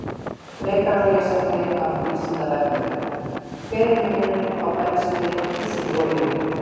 Frekara lesefni af Vísindavefnum: Hver er munurinn á bensíni og dísilolíu?